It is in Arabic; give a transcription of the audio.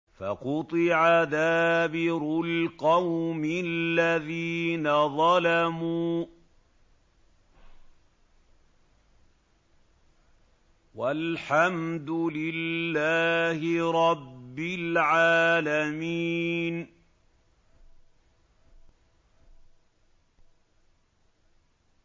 فَقُطِعَ دَابِرُ الْقَوْمِ الَّذِينَ ظَلَمُوا ۚ وَالْحَمْدُ لِلَّهِ رَبِّ الْعَالَمِينَ